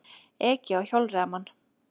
Ekið á hjólreiðamann